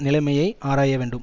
நிலைமையை ஆராய வேண்டும்